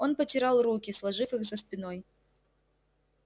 он потирал руки сложив их за спиной